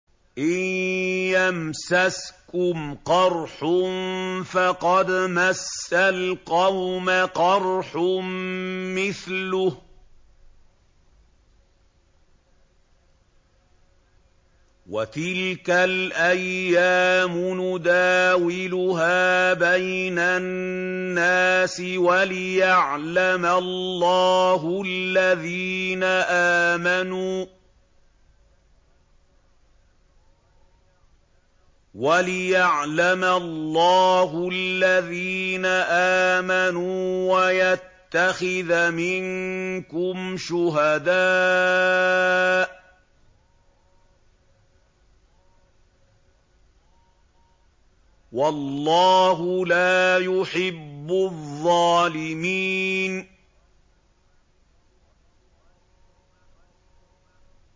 إِن يَمْسَسْكُمْ قَرْحٌ فَقَدْ مَسَّ الْقَوْمَ قَرْحٌ مِّثْلُهُ ۚ وَتِلْكَ الْأَيَّامُ نُدَاوِلُهَا بَيْنَ النَّاسِ وَلِيَعْلَمَ اللَّهُ الَّذِينَ آمَنُوا وَيَتَّخِذَ مِنكُمْ شُهَدَاءَ ۗ وَاللَّهُ لَا يُحِبُّ الظَّالِمِينَ